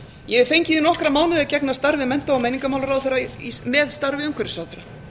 ég hef fengið í nokkra mánuði að gegna starfi mennta og menningarmálaráðherra með starfi umhverfisráðherra